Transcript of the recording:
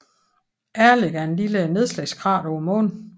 Ehrlich er et lille nedslagskrater på Månen